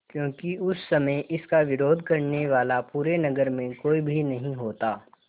क्योंकि उस समय इसका विरोध करने वाला पूरे नगर में कोई भी नहीं होता